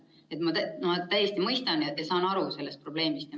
Nii et ma täiesti mõistan seda ja saan sellest probleemist aru.